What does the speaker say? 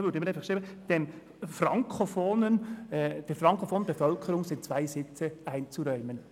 » Wir würden dann schreiben, «der frankofonen Bevölkerung sind zwei Sitze einzuräumen».